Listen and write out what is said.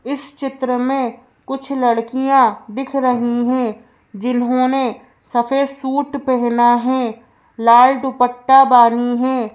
इस चित्र में कुछ लड़कियाँ दिख रही हैं जिन्होंने सफेद सूट पहना है लाल दुपट्टा बानी हैं।